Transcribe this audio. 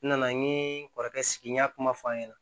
N nana n ye n kɔrɔkɛ sigi n y'a kuma f'a ɲɛna